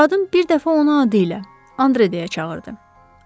Qadın bir dəfə onu adıyla Andre deyə çağırdı.